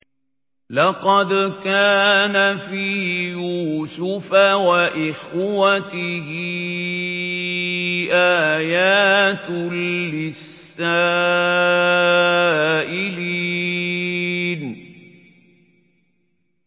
۞ لَّقَدْ كَانَ فِي يُوسُفَ وَإِخْوَتِهِ آيَاتٌ لِّلسَّائِلِينَ